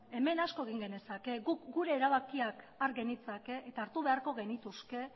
hemen asko egin genezake guk gure erabakiak har genitzake eta hartu beharko genituzke